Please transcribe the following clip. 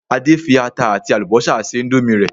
Adé fi ata àti àlùbọ́sà se indomie rẹ̀